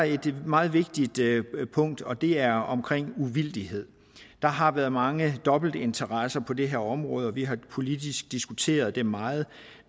et meget vigtigt punkt og det er omkring uvildighed der har været mange dobbeltinteresser på det her område og vi har politisk diskuteret det meget